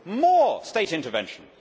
More state intervention.'